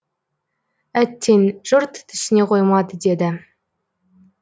әттең жұрт түсіне қоймады деді